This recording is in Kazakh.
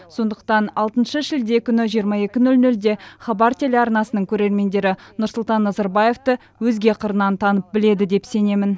сондықтан алтыншы шілде күні жиырма екі нөл нөлде хабар телеарнасының көрермендері нұрсұлтан назарбаевты өзге қырынан танып біледі деп сенемін